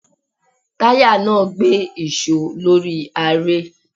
Táyà náà gbé ìṣó lórí aré.